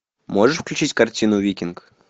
можешь включить картину викинг